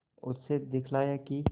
उसने दिखलाया कि